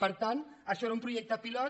per tant això era un projecte pilot